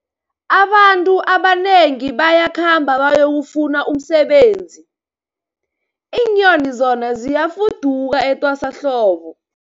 Abantu abanengi bayakhamba bayokufuna umsebenzi, iinyoni zona ziyafuduka etwasahlobo.